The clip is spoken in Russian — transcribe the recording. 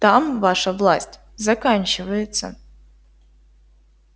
там ваша власть заканчивается